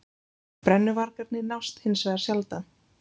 Brennuvargarnir nást hins vegar sjaldan